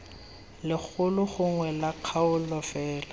legolo gongwe la kgaolo fela